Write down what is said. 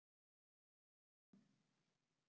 Hvaðan ertu?